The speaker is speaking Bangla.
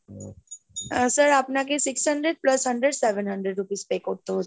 আহ sir আপনাকে six hundred plus hundred seven hundred rupees pay করতে হচ্ছে।